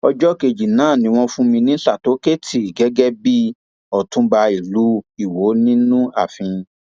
ọjọ kejì náà ni wọn fún mi ní sátọkẹẹtì gẹgẹ bíi ọtúnba ìlú iwọ nínú ààfin